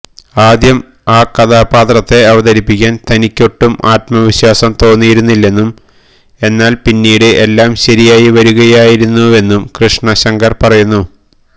ആദ്യം ആ കഥാപാത്രത്തെ അവതരിപ്പിക്കാന് തനിയ്ക്കൊട്ടും ആത്മവിശ്വാസം തോന്നിയിരുന്നില്ലെന്നും എന്നാല് പിന്നീട് എല്ലാ ശരിയായി വരുകയായിരുന്നുവെന്നും കൃഷ്ണശങ്കര് പറയുന്നു